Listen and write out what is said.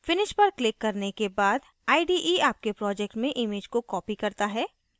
finish पर click करने के बाद ide आपके project में image को copies करता है